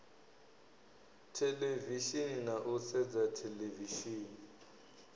theḽevishini na u sedza theḽevishini